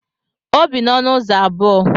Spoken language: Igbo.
O bi n'ọnụ ụzọ abụọ.